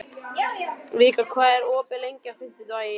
Vikar, hvað er opið lengi á fimmtudaginn?